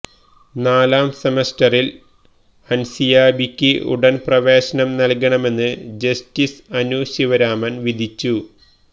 നാലാം സെമസ്റ്ററില് അന്സിയാബിക്ക് ഉടന് പ്രവേശനം നല്കണമെന്ന് ജസ്റ്റിസ് അനു ശിവരാമന് വിധിച്ചു